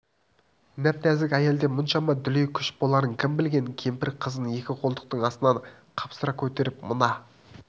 нәп-нәзік әйелде мұншама дүлей күш боларын кім білген кемпір қызын екі қолтықтың астынан қапсыра көтеріп мына